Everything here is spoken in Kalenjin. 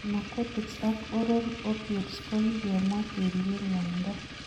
Narcotics ak oral opiods kokikemwaa keribeen ng'wonindo